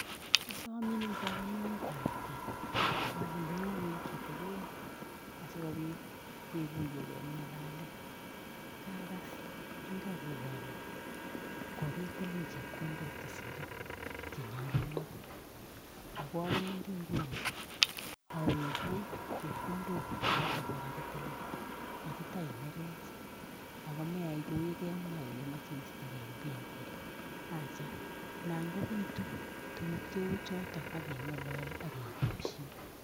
Asomin eng kamininget ab kei ale inyo ingweny kitigin, asi kobitu kekuiyegei eng ng'alalet. Kaagas rirekuk ale kokitilin chepkondok guk chesirei chenyalunot, ago awendi Nguni awegun chepkondok guk chotok kikakitilin. Matitai nerech ago meyai kou yekemwa ile imache iistegei eng benkit. Acha naan kobitu tukuk cheu chotok AK keng'ololyo ake koshin.